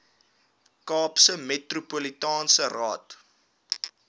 kaapse metropolitaanse raad